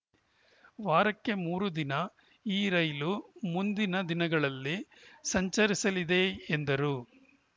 ವಾರಕ್ಕೆ ಮೂರು ದಿನ ಈ ರೈಲು ಮುಂದಿನ ದಿನಗಳಲ್ಲಿ ಸಂಚರಿಸಲಿದೆ ಎಂದರು